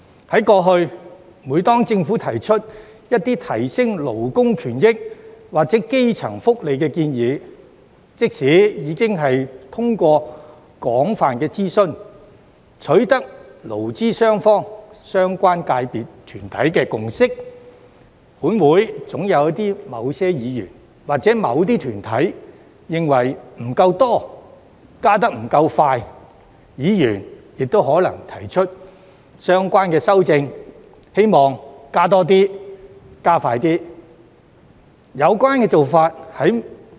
以往，每當政府提出改善勞工權益或基層福利的建議，即使已進行廣泛諮詢，並取得勞資雙方或相關界別、團體共識，本會總有某些議員或某些團體認為加幅不夠多、步伐不夠快，議員亦可能提出相關修正案，以調整加幅和加快步伐。